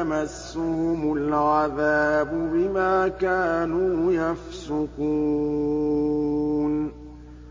يَمَسُّهُمُ الْعَذَابُ بِمَا كَانُوا يَفْسُقُونَ